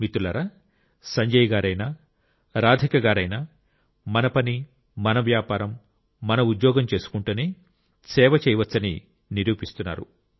మిత్రులారా సంజయ్ గారైనా రాధిక గారైనా మన పని మన వ్యాపారం మన ఉద్యోగం చేసుకుంటూనే సేవ చేయవచ్చని నిరూపిస్తున్నారు